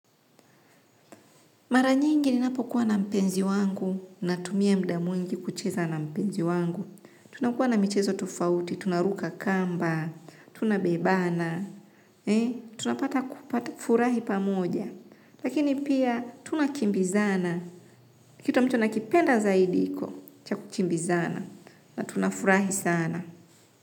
Mara nyingi ninapokuwa na mpenzi wangu natumia muda mwingi kucheza na mpenzi wangu. Tunakuwa na michezo tofauti, tunaruka kamba, tunabebana, tunapata kufurahi pamoja. Lakini pia tunakimbizana, kitu ambacho nakipenda zaidi hicho, cha kukimbizana na tunafurahi sana.